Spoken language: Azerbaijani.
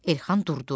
Elxan durdu.